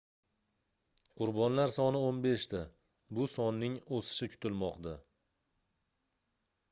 qurbonlar soni 15 ta bu sonning oʻsishi kutilmoqda